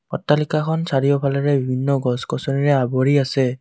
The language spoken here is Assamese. অট্টালিকাখন চাৰিওফালেৰে বিভিন্ন গছ গছনিৰে আৱৰি আছে।